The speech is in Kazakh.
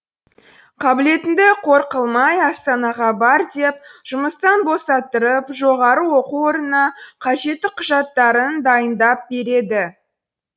қабілетіңді қор қылмай астанаға бар деп жұмыстан босаттырып жоғары оқу орнына қажетті құжаттарын дайындап береді